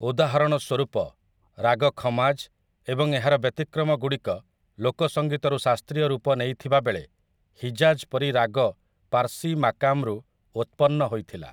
ଉଦାହରଣ ସ୍ୱରୂପ, ରାଗ ଖମାଜ୍ ଏବଂ ଏହାର ବ୍ୟତିକ୍ରମଗୁଡ଼ିକ ଲୋକ ସଂଗୀତରୁ ଶାସ୍ତ୍ରୀୟ ରୂପ ନେଇଥିବାବେଳେ ହିଜାଜ୍ ପରି ରାଗ ପାର୍ସି ମାକାମ୍‌ରୁ ଉତ୍ପନ୍ନ ହୋଇଥିଲା ।